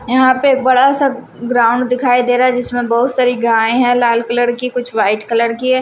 यहां पे एक बड़ा सा ग्राउंड दिखाई दे रहा है जिसमें बहुत सारी गाय है लाल कलर की कुछ वाइट कलर की है ।